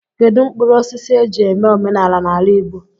Kedụ mkpụrụosisi e ji eme omenala n'ala Igbo?